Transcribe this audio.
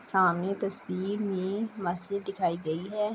سامنے تشویر مے مسجد دکھائی دے رہی ہے۔